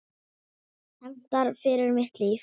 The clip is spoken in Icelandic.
Hefndar fyrir mitt líf.